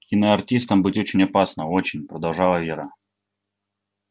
киноартистом быть очень опасно очень продолжала вера